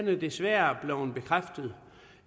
er desværre blevet bekræftet